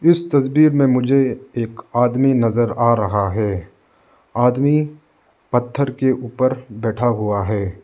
इस तस्वीर में मुझे एक आदमी नजर आ रहा है। आदमी पत्थर के ऊपर बैठा हुआ है।